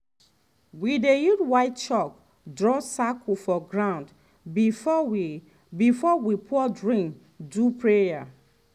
we dey use white chalk draw circle for ground before we before we pour drink do prayer.